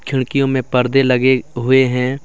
खिड़कियों मे परदे लगे हुए है।